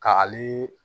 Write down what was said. Ka ale